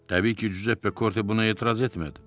Təbii ki, Cüzep Pekorte buna etiraz etmədi.